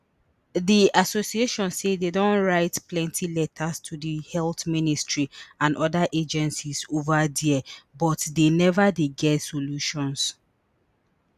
di association say dem don write plenty letters to di health ministry and oda agencies ova dia but dey neva dey get solutions